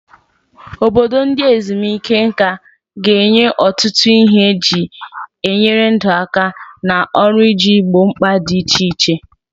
Obodo ndị ezumike nka ga-enye ọtụtụ ihe eji enyere ndụ aka na ọrụ iji gboo mkpa dị iche iche.